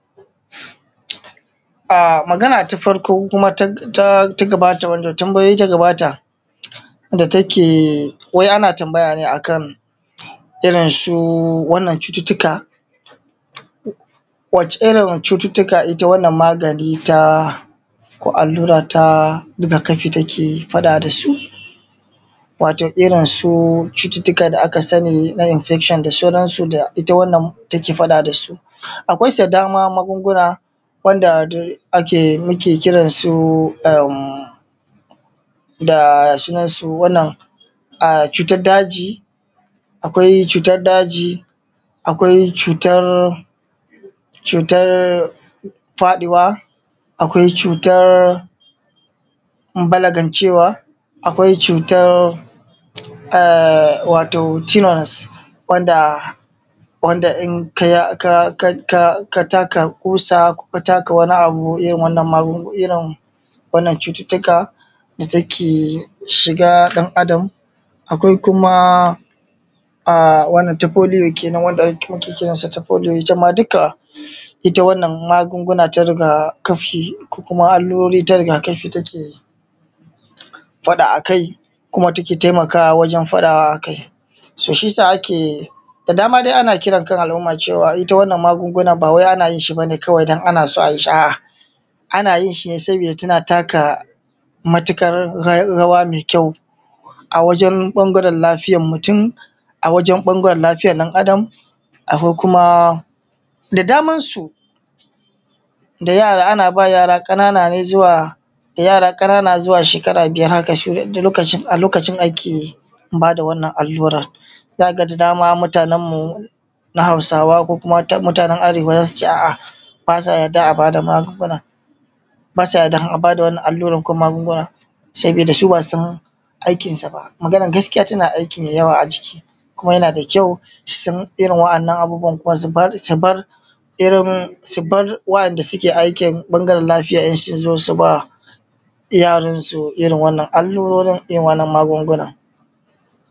Magana ta farko da wanda ta gaba ta wai ana tambaya ne akan irin cututtuka, wace Irin cututtuka ita wannan magani ko allura ta riga kafi take faɗa da su, wato irin su cututtukan da aka sani na infection da sauransu ita wannan take faɗa da su. Akwai su da dama magunguna wanda muke kiransu da sunansu da cutar daji, akwai cutar daji akwai cutar faɗiwa, akwai cutar balagancewa, akwai cutar tilas in ka taka kusa ko ka taka wani abu irin wannan cututtuka da take shiga a ɗan Adam. Akwai kuma ta polio kenan wanda ita ma duka wannan magunguna ta riga-kafi ko allurori ta riga-kafi suna faɗa a kai kuma take taimakawa wajen faɗawa a kai .da dama dai ana kira kan al'umma a kai ita wannan magungunan ana yin shi kawai don ana so a yi shi. A'a ana yin shi ne saboda tana taka matuƙar rawa mai ƙyau a wajen ɓangaren lafiyar mutum, akwai ɓangaren lafiyar ɗan Adam da daman su, ana ba yara ƙanana ne zuwa she kara biyar haka lokacin ake ba da wannan allurar za ka da dama mutanen mu na Hausawa ko kuma mutanen Arewa za su ce a'a ba sa yarda a ba da magungunan ba sa yarda in an ba da wannan allurar ko magunguna saboda shi ba a san aikinsa ba. Maganar gaskiya tana aiki ne da yawa jiki, kuma yana da ƙyau daga cikiirin waɗannan abubuwa sifar waɗanda suke ɓangaren lafiya su xo su ba yaransu irin wannan allurori da irin wannan magungunan.